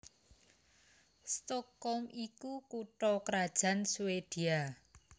Stockholm iku kutha krajan Swédia